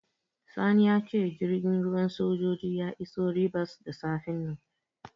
Sani ya ce jirgin ruwan sojoji ya iso Ribas da safen nan.